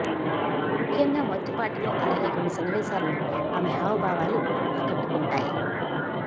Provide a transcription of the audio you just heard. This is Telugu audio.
ముఖ్యంగా మొదటి పాటలో అలాగే కొన్ని సన్నివేశాల్లో ఆమె హావభావాలు ఆకట్టుకుంటాయి